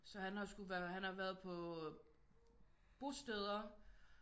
Så han har skulle være han har været på bosteder